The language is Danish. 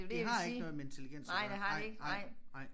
Det har ikke noget med intelligens at gøre nej nej nej